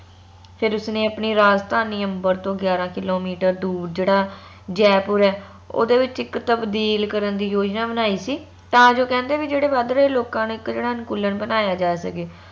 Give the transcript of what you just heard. ਫੇਰ ਉਸ ਨੇ ਆਪਣੀ ਰਾਜਧਾਨੀ ਅੰਬਰ ਤੋਂ ਗਿਆਰਾਂ ਕਿੱਲੋਮੀਟਰ ਦੂਰ ਜੇਹੜਾ ਜੈਪੁਰ ਆ ਓਂਦੇ ਵਿਚ ਇਕ ਤਬਦੀਲ ਕਰਨ ਦੀ ਯੋਜਨਾ ਬਣਾਈ ਸੀ ਤਾ ਜੋ ਕੈਂਦੇ ਜੋ ਵਾਦਦੇ ਲੋਕਾਂ ਨਾ ਇਕ ਜਿਹੜਾ ਅਨੁਕੂਲਣ ਬਨਾਯਾ ਜਾ ਸਕੇ